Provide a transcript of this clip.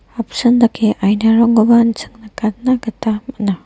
apsan dake ainarangkoba an·ching nikatna gita man·a.